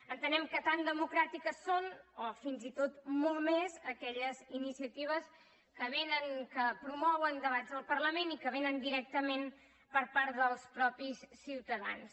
entenem que tan democràtiques són o fins i tot molt més aquelles iniciatives que promouen debats al parlament i que vénen directament per part dels mateixos ciutadans